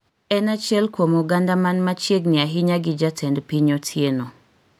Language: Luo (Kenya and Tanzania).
en achiel kuom oganda mna machiegni ahinya gi Jatend Piny Otieno